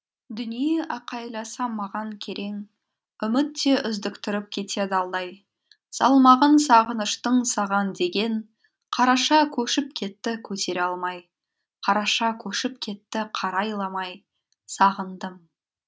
дүние айқайласам маған керең үміт те үздіктіріп кетеді алдай салмағын сағыныштың саған деген қараша көшіп кетті көтере алмай қараша көшіп кетті қарайламай сағындым